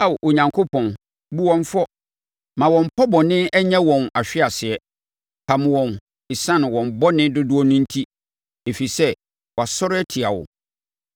Ao, Onyankopɔn, bu wɔn fɔ! Ma wɔn pɔ bɔne nyɛ wɔn ahweaseɛ. Pam wɔn ɛsiane wɔn bɔne dodoɔ no enti, ɛfiri sɛ wɔasɔre atia wo.